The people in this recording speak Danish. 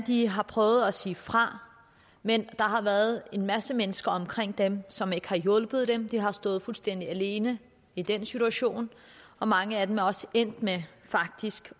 de har prøvet at sige fra men der har været en masse mennesker omkring dem som ikke har hjulpet dem så de har stået fuldstændig alene i den situation og mange af dem er også endt med faktisk